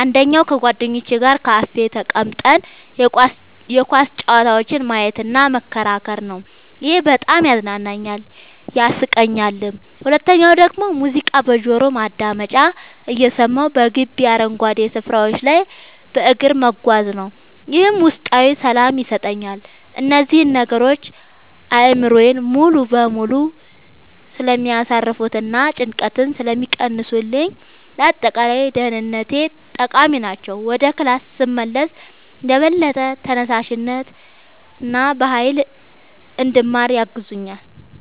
አንደኛው ከጓደኞቼ ጋር ካፌ ተቀምጠን የኳስ ጨዋታዎችን ማየትና መከራከር ነው፤ ይሄ በጣም ያዝናናኛል፣ ያሳቀኛልም። ሁለተኛው ደግሞ ሙዚቃ በጆሮ ማዳመጫ እየሰማሁ በግቢው አረንጓዴ ስፍራዎች ላይ በእግር መጓዝ ነው፤ ይህም ውስጣዊ ሰላም ይሰጠኛል። እነዚህ ነገሮች አእምሮዬን ሙሉ በሙሉ ስለሚያሳርፉትና ጭንቀትን ስለሚቀንሱልኝ ለአጠቃላይ ደህንነቴ ጠቃሚ ናቸው። ወደ ክላስ ስመለስም በበለጠ ተነሳሽነትና በሃይል እንድማር ያግዙኛል።